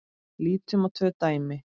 Lítum á tvö dæmi.